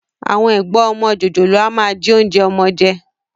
Àwọn ẹ̀gbọ́n ọmọ jòjòló a máa jí oúnjẹ ọmọ jẹ